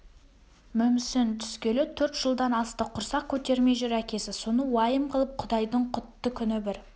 мүмсін түскелі төрт жылдан асты құрсақ көтермей жүр әкесі соны уайым қылып құдайдың құтты күні бір